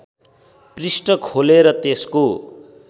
पृष्ठ खोलेर त्यसको